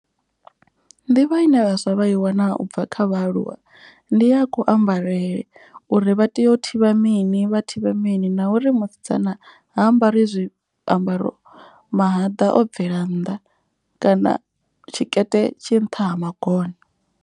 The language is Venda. Nḓivho ine vhaswa vha i wana ubva kha vhaaluwa ndi ya ku ambarele. Uri vha tea u thivha mini vha thivha mini na uri musidzana ha ambari zwiambaro mahaḓa o bvela nnḓa. Kana tshikete tshi nṱha ha magona.